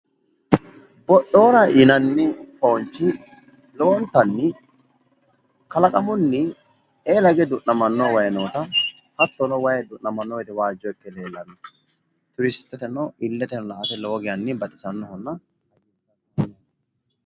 Bo'noora yinanni foonchi kalaqamunni lowonta biifinohanna iila hige du'namanno wayi giddo mitto ikkinoha Turisteteno maala'lisanno fooncho ikkknota xawissanno misileeti.